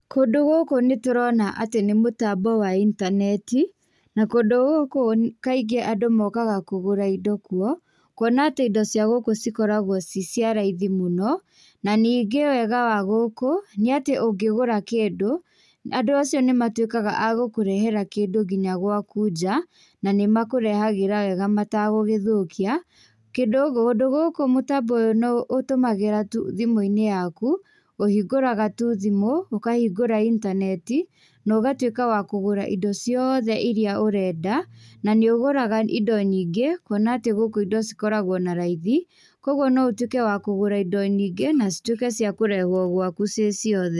Kũndũ gũkũ nĩtũrona atĩ nĩ mũtambo wa intaneti na kũndũ gũkũ kaingĩ andũ mokaga kũgũra indo kuo kũona atĩ indo cia gũkũ cikoragwo ci cia raithi mũno. Na ningĩ wega wa gũkũ nĩ atĩ ũngĩgũra kĩndũ andũ acio nĩ matũĩkaga agũkũrehera kĩndũ ngĩnya gwaku nja na nĩmakũrehagĩra mwega matagũgĩthũkia. Kĩndũ kũndũ gũkũ mũtambo ũyũ ũtũmagĩra tu thimũ-inĩ yaku, ũhingũraga tu thimũ, ũkahingũra intaneti na ũgatuĩka wa kũgũra indo ciothe ĩrĩa ũrenda na nĩ ũgũra indo nyingĩ kuona atĩ gũkũ indo cikoragwo na raithi kogwo no ũtuĩke wa kũgũra indo nyingĩ na cituĩke cia kũrehwo gwaku ciĩ ciothe.